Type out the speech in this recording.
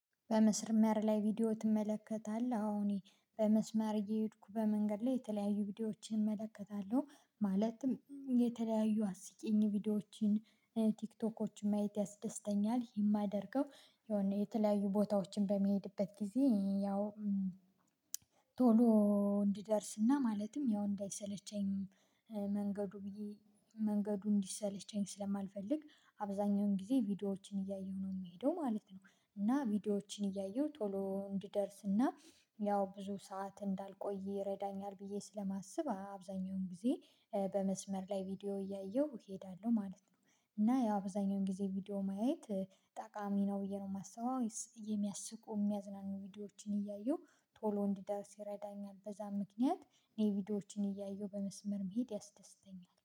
በመስርመር ላይ ቪዲዮ ትመለከታለህ? አዎ እኔ በመስመር እየሄድኩ በመንገድ ላይ የተለያዩ ቪዲዮዎችን እመለከታለሁ ማለትም የተለያዩ አስቂኝ ቪዲዮዎችን ቲክቶኮችን ማየት ያስደስተኛል። የማደርገው የሆነ የተለያዩ ቦታዎችን በምሄድበት ጊዜ ያው ቶሎ እንድደርስና ማለትም ያው እንዳይሰለቸኝ መንገዱ ብዬ መንገዱ እንዲሰለቸኝ ስለማልፈልግ አብዛኛውን ጊዜ ቪዲዮዎችን እያየሁ ነው የምሄደው ማለት ነው። እና ቪዲዮዎችን እያየሁ ቶሎ እንድደርስና ያው ብዙ ሰዓት እንዳልቆይ ይረዳኛል ብዬ ስለማስብ አብዛኛውን ጊዜ በመስመር ላይ ቪዲዮ እያየሁ እሄዳለሁ ማለት ነው። እና ያ አብዛኛውን ጊዜ ቪዲዮ ማየት ጠቃሚ ነው ብዬ ነው የማስበው የሚያስቁ የሚያዝናኑ ቪዲዮዎችን እያየሁ ቶሎ እንድደርስ ይረዳኛል በዛ ምክንያት እኔ ቪዲዮዎችን እያየሁ በመስመር መሄድ ያስደስተኛል